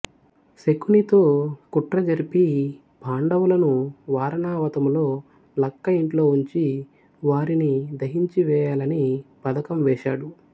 శకునితో కుట్ర జరిపి పాండవులను వారణావతములో లక్క ఇంట్లో ఉంచి వారిని దహించివేయాలని పధకం వేశాడు